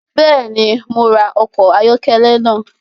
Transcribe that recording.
Bẹẹni, Mo rá ọkọ ayọkẹlẹ náà